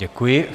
Děkuji.